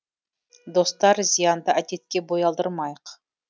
достар зиянды әдетке бой алдырмайық